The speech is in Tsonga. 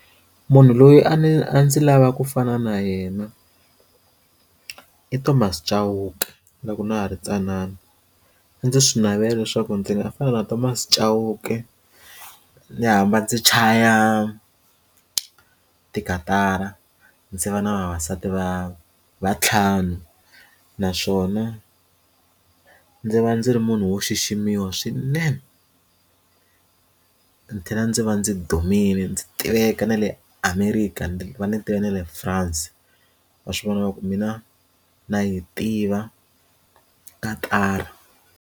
Munhu loyi a ndzi a ndzi lava ku fana na yena i Thomas Chauke loko na ha ri tsanana a ndzi swi navelela leswaku ndzi nga fana na Thomas Chauke ndzi hamba ndzi chaya tikatara ndzi va na vavasati va vantlhanu naswona ndzi va ndzi ri munhu wo xiximiwa swinene ndzi tlhela ndzi va ndzi dumile ndzi tiveka na le America ndzi va ndzi tiva na le France va swi vona ku mina na yi tiva katara.